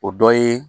O dɔ ye